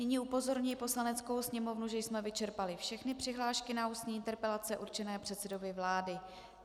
Nyní upozorňuji Poslaneckou sněmovnu, že jsme vyčerpali všechny přihlášky na ústní interpelace určené předsedovi vlády.